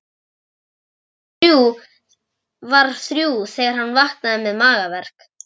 Klukkan var þrjú þegar hann vaknaði með magaverk.